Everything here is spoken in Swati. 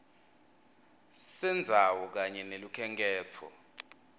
sendzawo kanye nelukhenkhetfo